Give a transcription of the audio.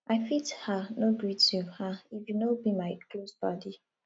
i fit um no greet you um if you no be my close paddy